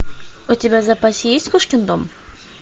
у тебя в запасе есть кошкин дом